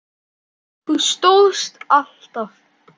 Það stóðst alltaf.